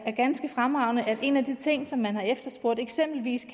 ganske fremragende nemlig at en af de ting som man har efterspurgt eksempelvis